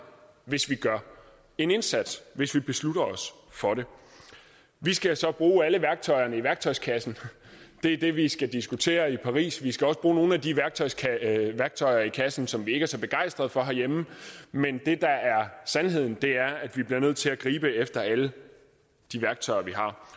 hvis vi gør en indsats hvis vi beslutter os for det vi skal så bruge alle værktøjerne i værktøjskassen det er det vi skal diskutere i paris vi skal også bruge nogle af de værktøjer i kassen som vi ikke er så begejstret for herhjemme men det der er sandheden er at vi bliver nødt til at gribe efter alle de værktøjer